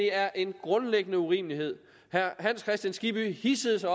er en grundlæggende urimelighed herre hans kristian skibby hidsede sig